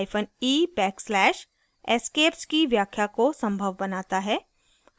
hyphen e backslash escapes की व्याख्या को संभव बनाता है